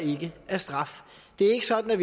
at